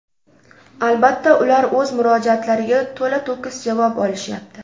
Albatta, ular o‘z murojaatlariga to‘la-to‘kis javob olishyapti.